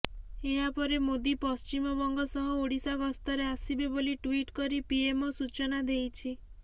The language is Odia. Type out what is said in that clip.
ଏହାପରେ ମୋଦି ପଶ୍ଚିମବଙ୍ଗ ସହ ଓଡ଼ିଶା ଗସ୍ତରେ ଆସିବେ ବୋଲି ଟ୍ୱିଟ୍ କରି ପିଏମଓ ସୂଚନା ଦେଇଛି